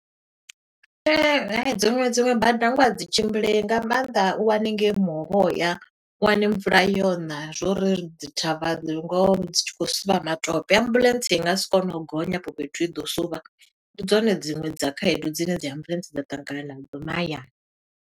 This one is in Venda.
Ehe, dziṅwe dziṅwe bada ngoho a dzi tshimbileyi, nga maanḓa u wane ngei muhovhoya, u wane mvula yo ṋa, zwo uri ri dzi thavha, ngoho dzi tshi khou suvha matope. Ambuḽentse i nga si kone u gonya afho fhethu, i ḓo suvha. Ndi dzone dziṅwe dza khaedu dzine dzi ambuḽentse dza ṱangana na dzo mahayani.